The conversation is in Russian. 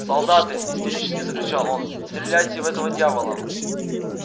солдаты истерически закричал он стреляйте в этого дьявола